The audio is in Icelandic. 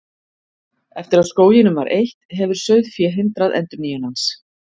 Eftir að skóginum var eytt, hefur sauðfé hindrað endurnýjun hans.